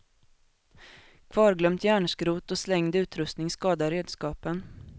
Kvarglömt järnskrot och slängd utrustning skadar redskapen.